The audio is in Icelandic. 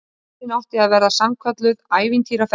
Ferðin átti að verða sannkölluð ævintýraferð